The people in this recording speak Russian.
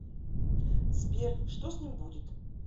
сбер что с ним будет